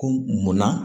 Ko munna